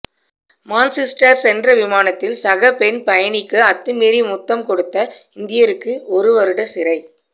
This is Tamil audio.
மான்செஸ்டர் சென்ற விமானத்தில் சக பெண் பயணிக்கு அத்துமீறி முத்தம் கொடுத்த இந்தியருக்கு ஒரு வருட சிறை